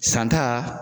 Santa